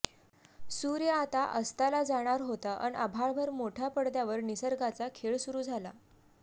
सुर्य आता अस्ताला जाणारा होता अन आभाळभर मोठ्या पडद्यावर निसर्गाचा खेळ सुरु झाला